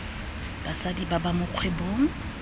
basadi ba ba mo kgwebong